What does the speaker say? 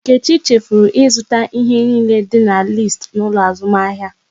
Nkechi chefuru ịzụta ihe niile dị n'listi n'ụlọ azụmahịa